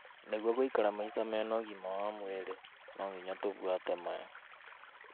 Nĩguo gũikara maica mena ũgima wa mwĩrĩ, no tũbuate maya: